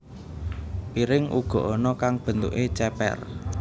Piring uga ana kang bentuké cépér